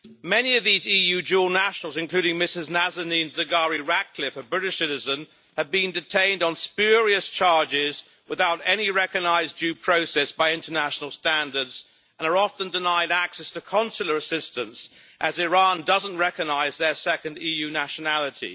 Many of these EU dual nationals, including Mrs Nazanin Zaghari Ratcliffe, a British citizen, have been detained on spurious charges without any recognised due process by international standards and are often denied access to consular assistance, as Iran doesn't recognise their second EU nationality.